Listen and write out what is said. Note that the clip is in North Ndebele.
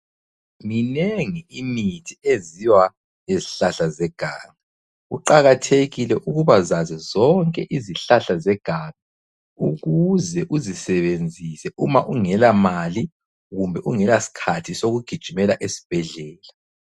Minengi imithi enziwa ngezihlahla zeganga. Kuqakathekile ukubazazi zonke izihlahla zeganga ukuze uzisebenzise uma ungelamali, kumbe ungelasikhathi sokugijimela esibhedlela.